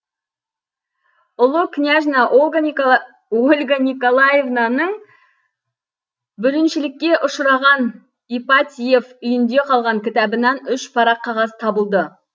ұлы княжна ольга николаевнаның бүліншілікке ұшыраған ипатьев үйінде қалған кітабынан үш парақ қағаз табылды